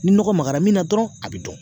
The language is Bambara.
Ni nɔgɔ magara min na dɔrɔn a bi dɔn